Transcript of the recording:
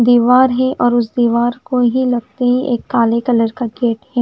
दिवार है और उस दिवार को ही लगती एक काले कलर का गेट है।